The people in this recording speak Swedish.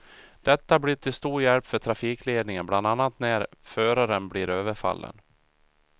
Detta blir till stor hjälp för trafikledningen, bland annat när föraren blir överfallen.